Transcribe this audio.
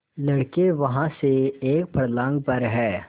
लड़के वहाँ से एक फर्लांग पर हैं